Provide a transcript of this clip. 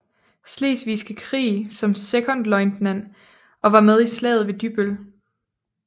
Slesvigske Krig som sekondløjtnant og var med i Slaget ved Dybbøl